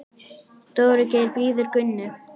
Dóri Geir bíður Gunnu.